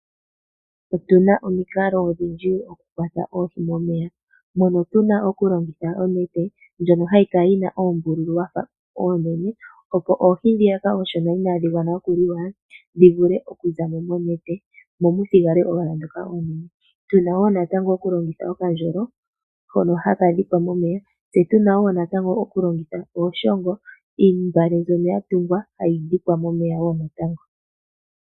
Otu na omikalo odhindji okukwata oohi momeya, mono tu na okulongitha onete ndyono hayi kala yi na oombululu dha fa oonene opo oohi ndhiyaka oonshona inadhi gwana okuliwa, dhi vule okuza mo monete mo mu thigale owala ndhoka oonene. Tu na wo okulongitha okandjolo hono ha ka dhikwa momeya, tse tu na wo okulongitha ooshongo, iimbale ndyono ya tungwa hayi dhikwa momeya wo natango.